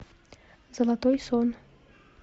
золотой сон